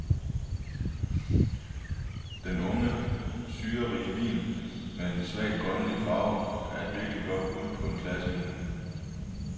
Denne unge, syrerige vin med dens svagt grønlige farve, er et virkeligt godt bud på en klassevin.